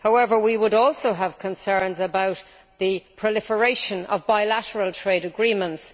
However, we would also have concerns about the proliferation of bilateral trade agreements.